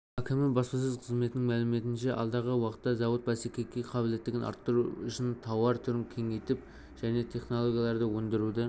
әкімі баспасөз қызметінің мәліметінше алдағы уақытта зауыт бәсекеге қабілеттігін арттыру үшінтауар түрін көбейтіп жаңа технологияларды ендіруді